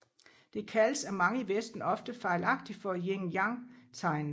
Det kaldes af mange i Vesten ofte fejlagtigt for Yin Yang tegnet